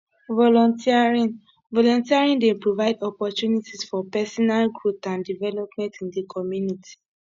volunteering volunteering dey provide opportunties for pesinal growth and development in di community